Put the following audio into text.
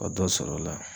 Ka dɔ sɔrɔ o la